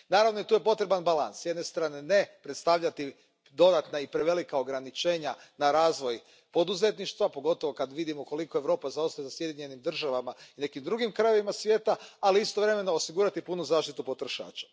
Naravno, tu je potreban balans, s jedne strane ne predstavljati dodatna i prevelika ograničenja na razvoj poduzetništva, pogotovo kad vidimo koliko Europa zaostaje za Sjedinjenim Državama i nekim drugim krajevima svijeta, ali istovremeno osigurati punu zaštitu potrošača.